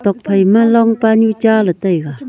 tok phaima long paanu cha ley taiga.